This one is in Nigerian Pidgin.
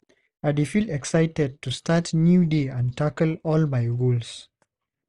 I dey feel excited to start new day and tackle all my goals.